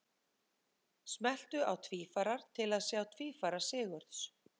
Smelltu á Tvífarar til að sjá tvífara Sigurðs.